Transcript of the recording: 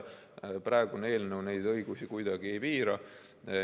Praegune eelnõu neid õigusi kuidagi ei piira.